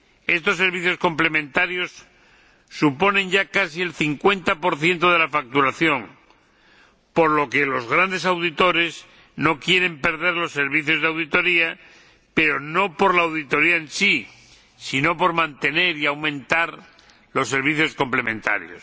Estos servicios complementarios suponen ya casi el 50 de la facturación, por lo que los grandes auditores no quieren perder los servicios de auditoría, pero no por la auditoría en sí, sino por mantener y aumentar los servicios complementarios.